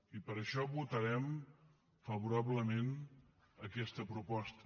i per això votarem favorablement aquesta proposta